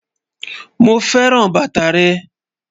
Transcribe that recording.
Mo fẹ́ran bátà rẹ́